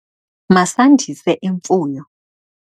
Masandise imfuyo.